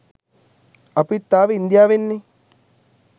අපිත් ආවේ ඉන්දියාවෙන් නේ